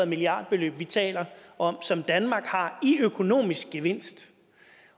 milliardbeløb vi taler om som danmark har i økonomisk gevinst